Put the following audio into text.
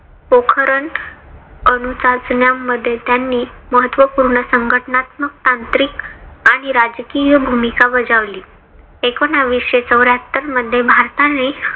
पोखरण अनु चाचण्यामध्ये त्यांनी महत्वपूर्ण संघटनात्मक तांत्रिक आणि राजकीय भूमिका बजावली. एकोनाविशे चौर्याहत्तर मध्ये भारताने